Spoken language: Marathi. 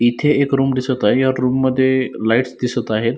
इथे एक रुम दिसत आहे या रुम मध्ये लाइट्स दिसत आहेत.